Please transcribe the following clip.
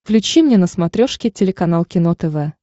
включи мне на смотрешке телеканал кино тв